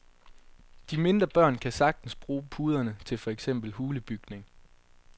De mindre børn kan sagtens bruge puderne til for eksempel hulebygning.